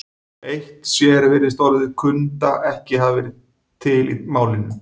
Eitt sér virðist orðið kunda ekki hafa verið til í málinu.